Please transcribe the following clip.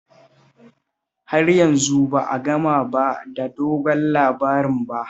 Har yanzu ba a gama ba da dogon labarin ba